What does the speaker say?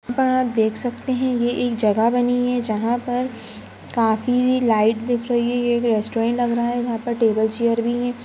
यहाँ आप देख सकते है ये एक जगह बनी है जहाँ पर काफी लाइट दिख रही है। ये एक रेस्टोरेंट लग रहा है जहाँ पर टेबल चेयर भी हैं।